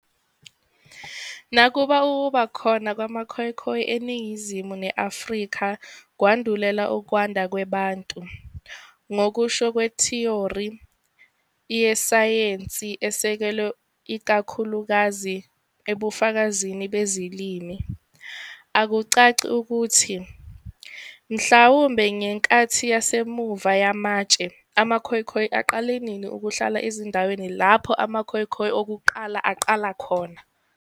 Nakuba ukuba khona kwamaKhoekhoe eNingizimu ne-Afrika kwandulela ukwanda kwe-Bantu, ngokusho kwethiyori yesayensi esekelwe ikakhulukazi ebufakazini bezilimi, akucaci ukuthi, mhlawumbe ngeNkathi Yasemuva Yamatshe, amaKhoekhoe aqala nini ukuhlala ezindaweni lapho amaKhoekhoe okuqala aqala khona.